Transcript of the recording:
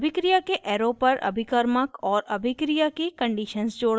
अभिक्रिया के arrow पर अभिकर्मक और अभिक्रिया की conditions जोड़ना